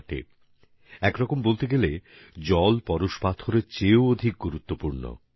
জল একদিক থেকে পরশমণি থেকেও বেশি গুরুত্বপূর্ণ